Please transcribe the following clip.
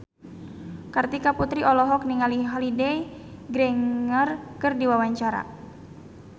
Kartika Putri olohok ningali Holliday Grainger keur diwawancara